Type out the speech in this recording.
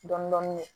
Dɔndɔni